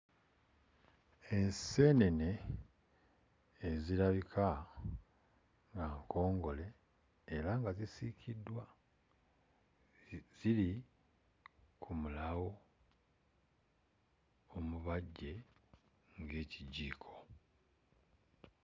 Enseenene ezirabika nga nkongole era nga zisiikiddwa, ziri ku mulawo omubaggye ng'ekijiiko.